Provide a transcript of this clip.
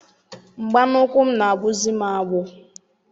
Mgba n'ukwu m na-agbụzi m agbụ.